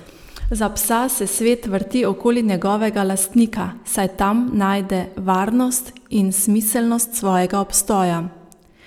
Za psa se svet vrti okoli njegovega lastnika, saj tam najde varnost in smiselnost svojega obstoja.